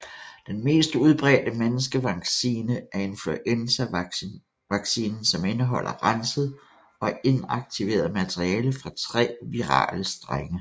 Den mest udbredte menneskevaccine er influenzavaccinen som indeholder renset og inaktiveret materiale fra tre virale strenge